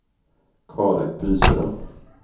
Carin Byström